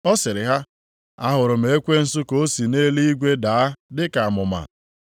Ọ sịrị ha, “Ahụrụ m ekwensu ka o si nʼeluigwe daa dị ka amụma.